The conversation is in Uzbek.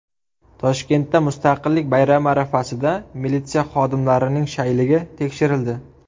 Toshkentda Mustaqillik bayrami arafasida militsiya xodimlarining shayligi tekshirildi.